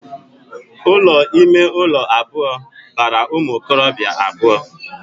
Ụlọ ime ụlọ abụọ bara ụmụ okorobia abụọ